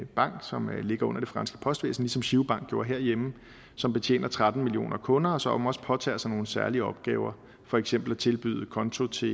bank som ligger under det franske postvæsen ligesom girobank gjorde herhjemme og som betjener tretten millioner kunder og som også påtager sig nogle særlige opgaver for eksempel at tilbyde en konto til